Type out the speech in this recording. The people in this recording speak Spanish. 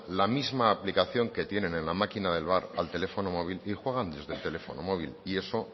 la misma aplicación que tienen en la máquina del bar al teléfono móvil y juegan desde el teléfono móvil y eso